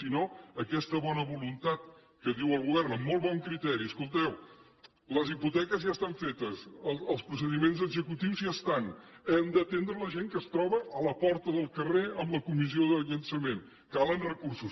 si no aquesta bona voluntat que diu el govern amb molt bon criteri escolteu les hipoteques ja estan fetes els procediments executius ja estan hem d’atendre la gent que es troba a la porta del carrer amb la comissió de llançament calen recursos